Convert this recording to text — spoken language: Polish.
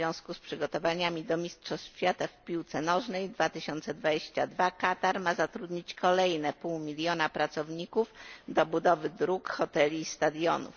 W związku z przygotowaniami do mistrzostw świata w piłce nożnej w roku 2022 Katar ma zatrudnić kolejne pół miliona pracowników do budowy dróg, hoteli i stadionów.